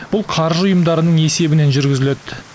бұл қаржы ұйымдарының есебінен жүргізіледі